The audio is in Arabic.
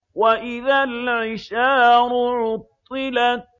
وَإِذَا الْعِشَارُ عُطِّلَتْ